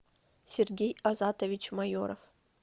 сергей азатович майоров